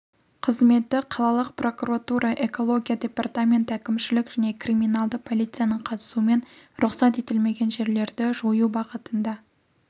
қызметі қалалық прокуратура экология департаменті әкімшілік және криминалды полицияның қатысуымен рұқсат етілмеген жерлерді жою бағытында